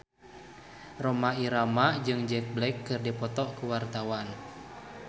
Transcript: Rhoma Irama jeung Jack Black keur dipoto ku wartawan